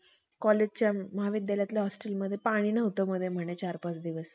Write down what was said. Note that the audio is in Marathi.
नास्तिक मत उपस्थित केले. त्यास हल्ली वेदास अथवा ज्ञानमार्ग म्हणतात. नंतर त्याने शिवलिंगाची स्थापना करून या देशाचे